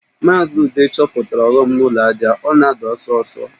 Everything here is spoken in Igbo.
Maazị Ude chọpụtara ọghọm dị na ụlọ ajá, ọ na-ada ọsọ ọsọ